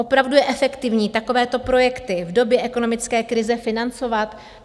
Opravdu je efektivní takovéto projekty v době ekonomické krize financovat?